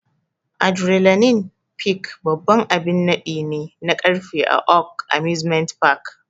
Adrenaline Peak babban abin naɗi ne na karfe a Oaks Amusement Park.